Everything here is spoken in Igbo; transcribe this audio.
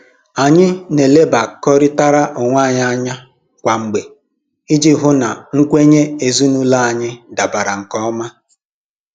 Anyị na-elebakọrịtara onwe anyị anya kwa mgbe iji hụ na nkwenye ezinụlọ anyị dabara nke ọma